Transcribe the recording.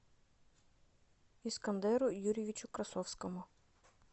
искандеру юрьевичу красовскому